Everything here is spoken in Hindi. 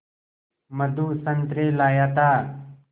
मधु संतरे लाया था